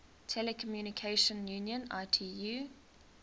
telecommunication union itu